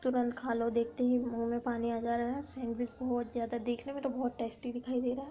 तुरंत खा लो देखते ही मूंह में पानी आ जा रहा है। सैंडविच बहुत ज्यादा देखने में तो बहुत टेस्टी दिखाई दे रहा है।